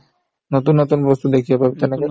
নতুন নতুন বস্তু দেখিব পাবি তেনেকে